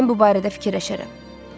Mən bu barədə fikirləşərəm.